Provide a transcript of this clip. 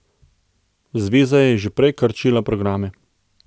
Zveza je že prej krčila programe.